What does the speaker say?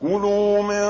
كُلُوا مِن